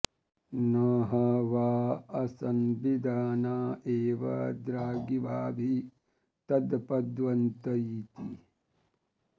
न ह वा असंविदाना एव द्रागिवाभि तत्पद्यन्त इति